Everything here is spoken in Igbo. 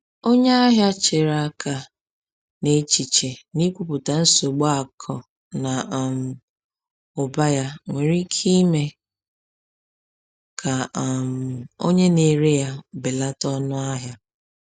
Onye ahịa chere aka, n’echiche na ikwupụta nsogbu akụ na um ụba ya nwere ike ime ka um onye na-ere ya belata ọnụahịa.